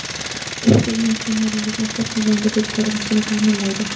U sizning kiyimlaringizni xuddi yangidek ko‘rinishini ta’minlaydi.